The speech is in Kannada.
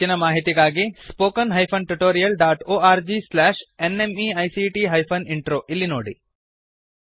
ಹೆಚ್ಚಿನ ಮಾಹಿತಿಗಾಗಿ spoken hyphen tutorial dot org slash NMEICT hyphen intro ಇಲ್ಲಿ ನೋಡಿ